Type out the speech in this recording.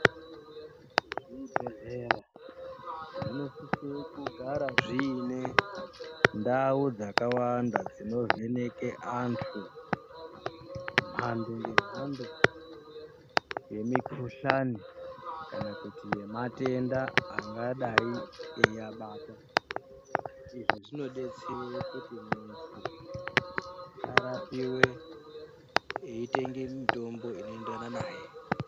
Zvibhehleya zvinosisire kugara zviine ndau dzakawanda dzinovheneke antu, mhando ngemahando yemikhuhlani kana kuti yematenda angadai eiabata izvi zvinodetsere kuti munhu arapiwe eitenge mitombo inoenderana naye.